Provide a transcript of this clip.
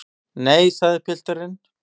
Nei, sagði pilturinn.